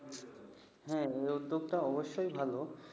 হা, এই উদ্যোগটা অবশ্যই ভালো।